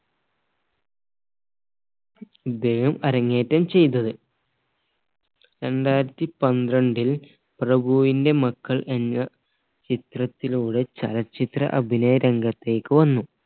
ഇദ്ദേഹം അരങ്ങേറ്റം ചെയ്തത് രണ്ടായിരത്തി പന്ത്രണ്ടിൽ പ്രഭുവിന്റെ മക്കൾ എന്ന ചിത്രത്തിലൂടെ ചലച്ചിത്ര അഭിനയ രംഗത്തേക്ക് വന്നു